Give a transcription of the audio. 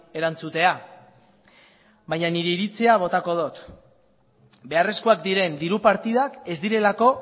erantzutea baina nire iritzia botako dut beharrezkoak diren diru partidak ez direlako